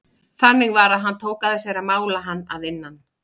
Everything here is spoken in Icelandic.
Þannig var að hann tók að sér að mála hann að innan.